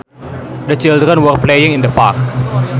The children were playing in the park